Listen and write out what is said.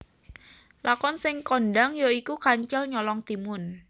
Lakon sing kondhang ya iku Kancil Nyolong Timun